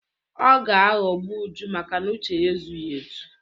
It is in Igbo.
Ọ ga-aghọgbu Uju makana uche ya ezughi ezu.